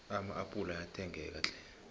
ama appula ayathengeka tlhe